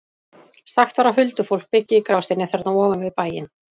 Sagt var að huldufólk byggi í Grásteini þarna ofan við bæinn.